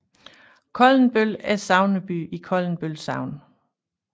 Koldenbøl er sogneby i Koldenbøl Sogn